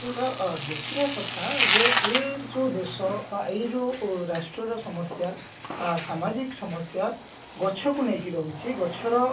ତ ଅ ଦେଖିବା କଥା ଯେ ଏ ଯୋଉ ଦେଶ ବା ଏଇ ଯୋଉ ରାଷ୍ଟ୍ର ର ସମସ୍ଯା ସାମାଜିକ ସମସ୍ଯା ଗଛ କୁ ନେଇ ରହୁଛି ଗଛର